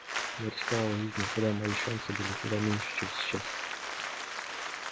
я рисковал жизнью когда мои шансы были куда меньше чем сейчас